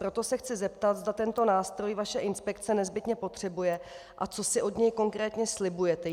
Proto se chci zeptat, zda tento nástroj vaše inspekce nezbytně potřebuje, a co si od něj konkrétně slibujete.